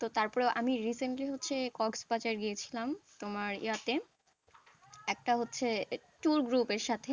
তো তারপরেও আমি recently হচ্ছে কক্সবাজার গিয়েছিলাম তোমার ইয়েতে একটা হচ্ছে tour group এর সাথে,